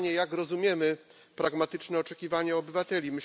Pytanie, jak rozumiemy pragmatyczne oczekiwania obywateli.